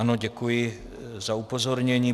Ano, děkuji za upozornění.